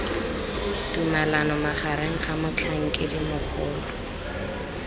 tumalano magareng ga motlhankedi mogolo